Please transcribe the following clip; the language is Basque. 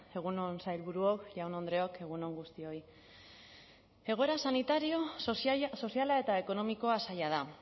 egun on sailburuok jaun andreok egun on guztioi egoera sanitario soziala eta ekonomikoa zaila da